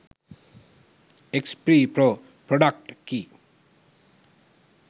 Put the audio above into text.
xp pro product key